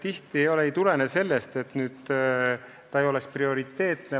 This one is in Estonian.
Tihti ei tulene niisugused vähendamised sellest, et tegevus ei oleks prioriteetne.